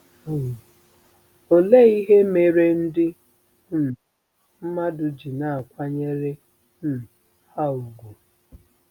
Um Ọ́le ihe mere ndị um mmadụ ji na-akwanyere um ha úgwù?